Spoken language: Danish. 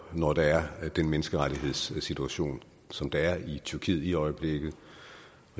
når der er den menneskerettighedssituation som der er i tyrkiet i øjeblikket